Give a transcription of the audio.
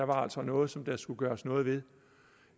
var der altså noget som der skulle gøres noget ved